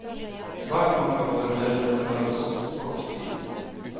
Svært mange av våre medlemmer er hos oss kort tid.